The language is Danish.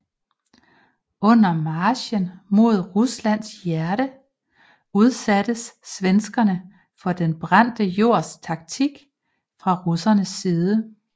Under marchen mod Ruslands hjerte udsattes svenskerne for den brændte jords taktik fra russernes side